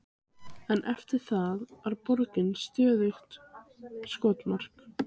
En eftir það var borgin stöðugt skotmark.